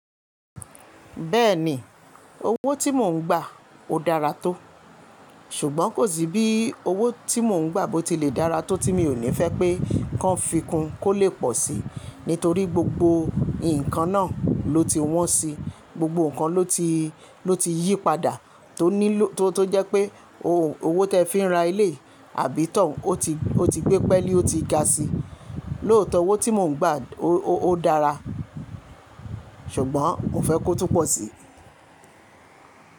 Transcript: Bẹ́ẹ̀ni owó tí mò ń gbà ó dára tó, ṣùgbọ́n kò sí bí owó tí mò ń gbà bó ti lè dára tó tí mi ò ní fẹ́ pé kí wọ́n fi kún kó lè pọ̀ sí, nítorí gbogbo nǹkan náà ló ti wọ́n si, gbogbo nǹkan ló ti, ló ti yí padà tó nílò tó jẹ́ pé owó tó fi ra ilé àbí tàn ó ti, ó ti gbé pẹ́ẹ́lí ó ti ga sí i. Lóòótọ́ owó tí mò ń gbà ó dára, ṣùgbọ́n mo fẹ́ kó tún pọ̀ sí i.